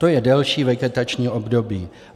To je delší vegetační období.